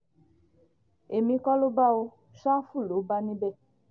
èmi kọ́ ló bá ọ ṣáfù ló bá níbẹ̀